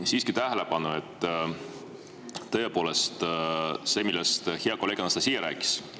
Ma juhin tähelepanu sellele, millest hea kolleeg Anastassia rääkis.